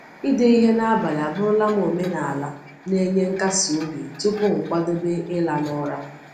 Ide ihe n’abalị abụrụla m omenala na-enye nkasi obi tupu m kwadebe ịla n’ụra.